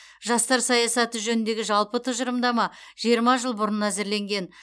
жастар саясаты жөніндегі жалпы тұжырымдама жиырма жыл бұрын әзірленген